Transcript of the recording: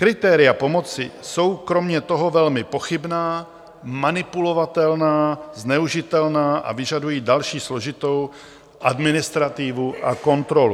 Kritéria pomoci jsou kromě toho velmi pochybná, manipulovatelná, zneužitelná a vyžadují další složitou administrativu a kontrolu.